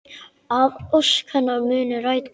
Að ósk hennar muni rætast.